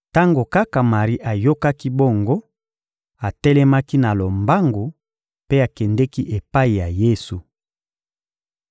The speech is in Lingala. Tango kaka Mari ayokaki bongo, atelemaki na lombangu mpe akendeki epai ya Yesu.